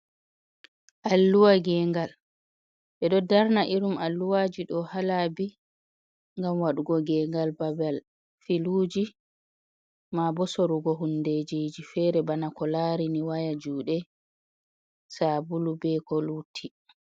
Alluwa ngegal ɓe ɗo darna irin alluwaji ɗo ha laabi gam wadugo ngegal babal filuji, ma bo sorugo hundejiji fere bana ko larini waya juɗe, sabulu, be ko lutti.